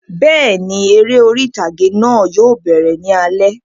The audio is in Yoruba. Bẹ́ẹ̀ni, eré orí ìtàgé náà yóò bẹ̀rẹ̀ ní alẹ́